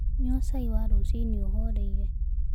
Nyua cai wa rũcĩĩnĩ ũhoreĩre